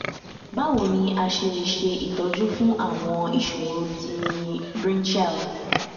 báwo ni a ṣe lè ṣe itoju fun àwọn ìṣòro ti brinchial